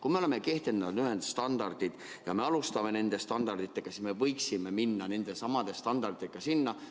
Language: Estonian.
Kui me oleme kehtestanud ühed standardid ja me alustame nende standarditega, siis me võiksime minna nende samade standarditega lõpuni.